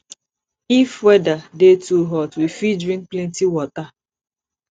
if weather dey too hot we fit drink plenty water